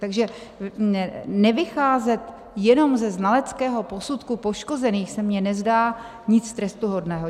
Takže nevycházet jenom ze znaleckého posudku poškozených se mně nezdá nic trestuhodného.